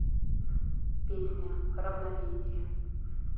песня равновесие